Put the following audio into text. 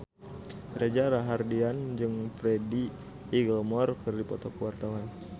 Reza Rahardian jeung Freddie Highmore keur dipoto ku wartawan